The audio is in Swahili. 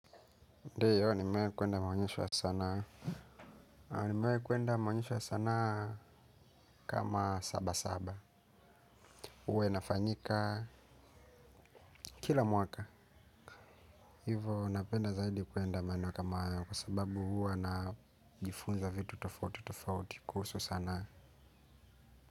Ndiyo, nimewai kuenda maonyesha sana. Nimewai kuenda maonyesho sanaa kama sabasaba. Huwa inafanyika kila mwaka. Hivo napenda zaidi kuenda maeneo kama haya kwa sababu huwa najifunza vitu tofautitofauti kuhusu sanaa.